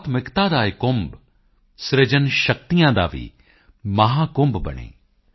ਕਲਾਤਮਕਤਾ ਕਾ ਯਹ ਕੁੰਭ ਸਿਰਜਨ ਸ਼ਕਤੀਓਂ ਕਾ ਭੀ ਮਹਾਕੁੰਭ ਬਨੇ